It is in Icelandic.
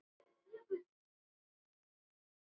Það er alls staðar slökkt.